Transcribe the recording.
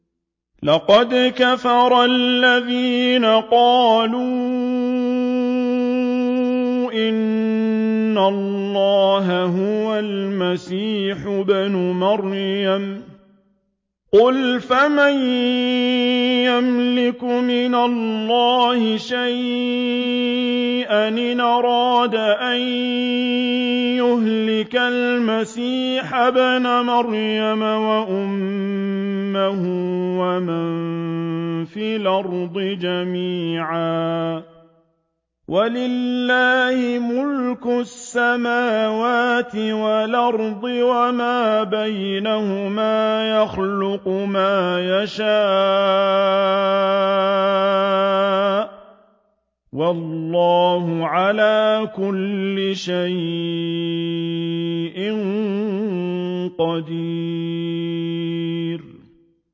لَّقَدْ كَفَرَ الَّذِينَ قَالُوا إِنَّ اللَّهَ هُوَ الْمَسِيحُ ابْنُ مَرْيَمَ ۚ قُلْ فَمَن يَمْلِكُ مِنَ اللَّهِ شَيْئًا إِنْ أَرَادَ أَن يُهْلِكَ الْمَسِيحَ ابْنَ مَرْيَمَ وَأُمَّهُ وَمَن فِي الْأَرْضِ جَمِيعًا ۗ وَلِلَّهِ مُلْكُ السَّمَاوَاتِ وَالْأَرْضِ وَمَا بَيْنَهُمَا ۚ يَخْلُقُ مَا يَشَاءُ ۚ وَاللَّهُ عَلَىٰ كُلِّ شَيْءٍ قَدِيرٌ